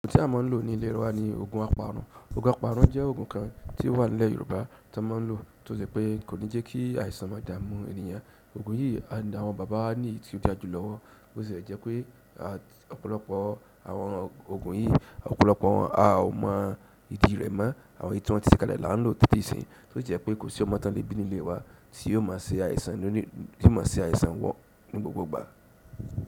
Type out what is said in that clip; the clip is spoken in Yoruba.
Òògùn tí a máa ń lò ní ilé wa ni oògùn apanu. Oògùn apanu jẹ́ oògùn kan tí ó wà ní ilẹ̀ Yorùbá tí a máa ń lò tó ṣé pé kò ní jẹ́ kí àìsàn má dà mú ènìyàn. Oògùn yìí ni àwọn bàbá ni tí ó dá a jù lọ́wọ́. Ó ṣe é jẹ́ pé ọ̀pọ̀lọpọ̀ àwọn oògùn yìí, ọ̀pọ̀lọpọ̀ wọn a ò mọ ìdí rẹ̀ mọ́. Àwọn èyí tí wọ́n ti ṣe kalẹ̀ là ń lò ti tí ìsin, tósi jẹ́ pé kò sí ọmọ tán lebi nínú ilé wa tí yóò má ṣe àìsàn, yóò má ṣe àìsàn wọ ní gbogbo ìgbà.